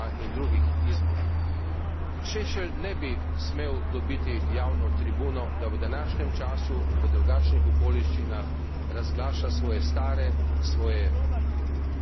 Šešelj ne bi smel dobiti javne tribune, da v današnjem času, v drugačnih okoliščinah razglaša svoje stare, svoje zavržene ideje.